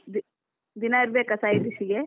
ದಿನಾ ಇರಬೇಕಾ side dish ಗೆ?